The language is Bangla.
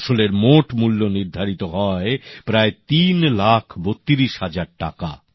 ফসলের মোট মূল্য নির্ধারিত হয় প্রায় ৩ লাখ ৩২ হাজার টাকা